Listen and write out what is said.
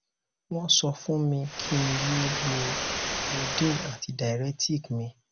wọn sọ fún mi kí n yé lo lodein àti diaretic mi